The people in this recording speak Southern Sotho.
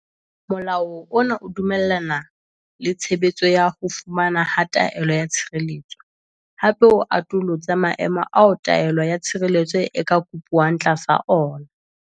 Molao ona o dumellana le tshebetso ya ho fumanwa ha taelo ya tshireletso, hape o atolotse maemo ao taelo ya tshireletso e ka kopuwang tlasa ona.